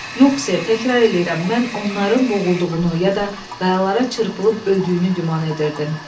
Yox, ser, təkrar eləyirəm, mən onların boğulduğunu, ya da qayalara çırpılıb öldüyünü güman edirdim.